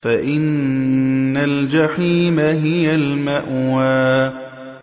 فَإِنَّ الْجَحِيمَ هِيَ الْمَأْوَىٰ